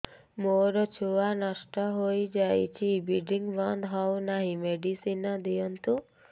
ମୋର ଛୁଆ ନଷ୍ଟ ହୋଇଯାଇଛି ବ୍ଲିଡ଼ିଙ୍ଗ ବନ୍ଦ ହଉନାହିଁ ମେଡିସିନ ଦିଅନ୍ତୁ